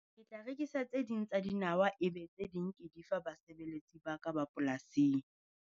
Ke tla rekisa tse ding tsa dinawa e be tse ding ke di fa basebeletsi ba ka ba polasing.